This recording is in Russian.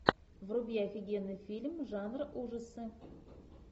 вруби офигенный фильм жанра ужасы